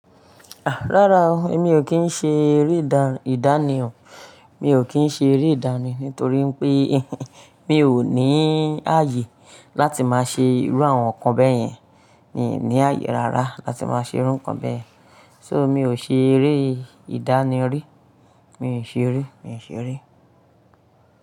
Rárá o, èmi o kí n ṣe eré ìdánì o, mi o kí n ṣe eré ìdánì nítorí pé mi o ní ààyè láti máa ṣe irú àwọn nǹkan bẹ́ẹ̀ yẹn, mi ò ní ààyè rárá láti máa ṣe irú nǹkan bẹ́ẹ̀. So mi ò ṣe eré ìdánì rí, mi ò ṣe eré, mi ò ṣe eré.